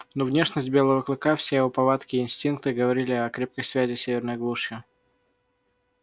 но внешность белого клыка все его повадки и инстинкты говорили о крепкой связи с северной глушью